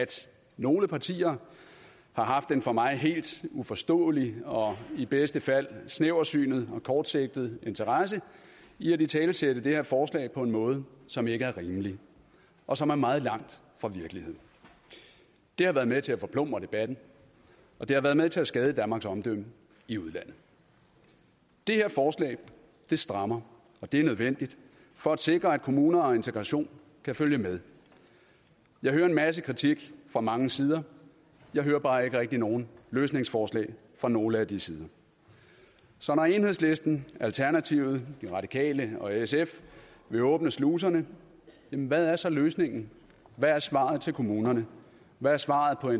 nogle partier har haft den for mig helt uforståelige og i bedste fald snævertsynede og kortsigtede interesse i at italesætte det her forslag på en måde som ikke er rimelig og som er meget langt fra virkeligheden det har været med til at forplumre debatten og det har været med til at skade danmarks omdømme i udlandet det her forslag strammer og det er nødvendigt for at sikre at kommuner og integration kan følge med jeg hører en masse kritik fra mange sider jeg hører bare ikke rigtig nogen løsningsforslag fra nogen af de sider så når enhedslisten alternativet de radikale og sf vil åbne sluserne hvad er så løsningen hvad er svaret til kommunerne hvad er svaret på